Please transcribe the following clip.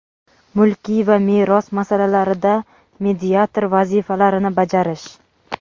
mulkiy va meros masalalarida mediator vazifalarini bajarish;.